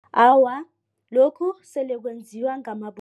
Awa, lokhu sele kwenziwa